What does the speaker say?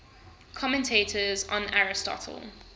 commentators on aristotle